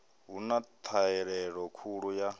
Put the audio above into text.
hu na ṱhahelelo khulu ya